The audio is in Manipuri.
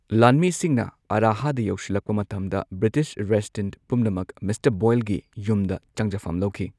ꯂꯥꯟꯃꯤꯁꯤꯡꯅ ꯑꯔꯥꯍꯗ ꯌꯧꯁꯤꯜꯂꯛꯄ ꯃꯇꯝꯗ ꯕ꯭ꯔꯤꯇꯤꯁ ꯔꯦꯁꯤꯗꯦꯟꯠ ꯄꯨꯝꯅꯃꯛ ꯃꯤꯁꯇꯔ ꯕꯣꯏꯜꯒꯤ ꯌꯨꯝꯗ ꯆꯪꯖꯐꯝ ꯂꯧꯈꯤ꯫